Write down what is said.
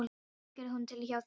Hvenær tekur hún til hjá þér?